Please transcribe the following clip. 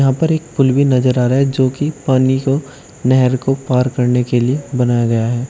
हां पर एक पूल भी नजर आ रहा है जो की पानी को नहर को पार करने के लिए बनाया गया है।